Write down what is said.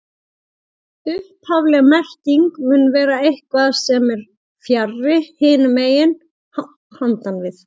Upphafleg merking mun vera eitthvað sem er fjarri, hinum megin, handan við